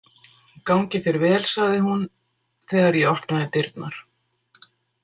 Gangi þér vel, sagði hún þegar ég opnaði dyrnar.